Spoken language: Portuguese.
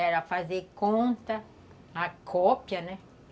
Era fazer conta, a cópia, né?